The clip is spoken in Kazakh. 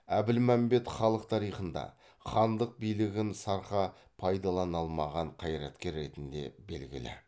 әбілмәмбет халық тарихында хандық билігін сарқа пайдалана алмаған қайраткер ретінде белгілі